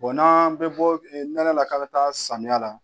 n'an bɛ bɔ nɛnɛ la k'an bɛ taa samiya la